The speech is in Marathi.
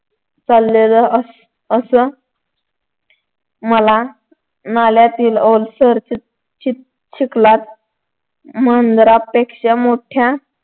चाललेलं असं मला नाल्यातील ओलसर चिख चिख चिखलात मांजरांपेक्षा मोठ्या